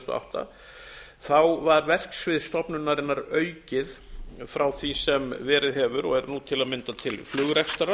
og átta var verksvið stofnunarinnar aukið frá því sem verið hefur og er nú til að mynda til flugrekstrar